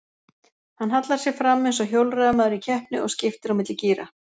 Hann hallar sér fram eins og hjólreiðamaður í keppni og skiptir á milli gíra.